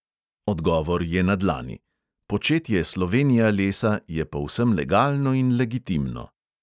Odgovor je na dlani: početje slovenijalesa je povsem legalno in legitimno.